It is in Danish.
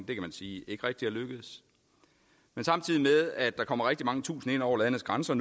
kan man sige ikke rigtig er lykkedes men samtidig med at der nu kommer rigtig mange tusinde ind over landets grænser